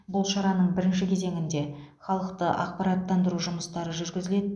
бұл шараның бірінші кезеңінде халықты ақпараттандыру жұмыстары жүргізіледі